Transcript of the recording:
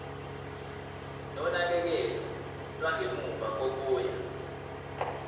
nonakekelo lwangemuva kokuya